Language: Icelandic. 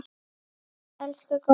Okkar elsku góði afi!